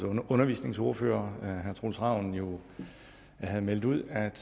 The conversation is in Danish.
undervisningsordfører herre troels ravn jo havde meldt ud at